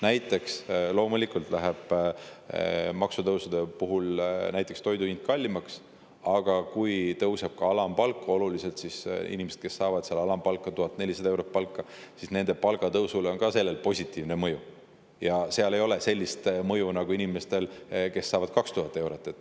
Näiteks, maksutõusude puhul läheb toidu hind loomulikult kallimaks, aga kui oluliselt tõuseb ka alampalk, siis nende inimeste, kes saavadki alampalka või ka 1400 eurot palka, on sellel positiivne mõju, aga sel ei ole sellist mõju inimeste puhul, kes saavad 2000 eurot.